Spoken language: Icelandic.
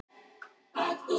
Svanurinn á ferð og flugi